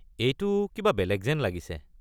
এইটো কিবা বেলেগ যেন লাগিছে।